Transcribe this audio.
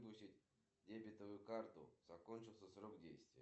один миллион из моей карты тинькофф